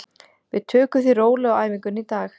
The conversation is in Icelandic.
Við tökum því rólega á æfingunni í dag.